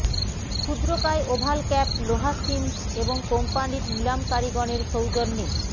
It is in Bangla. ক্ষুদ্রকায় ওভাল ক্যাপ লোহা সিমন্স এবং কোম্পানির নিলামকারীগণের সৌজন্যে